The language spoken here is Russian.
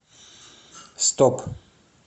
стоп